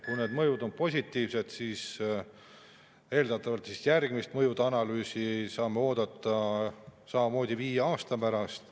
Kui mõjud on positiivsed, siis eeldatavalt võime järgmist mõjude analüüsi oodata samamoodi viie aasta pärast.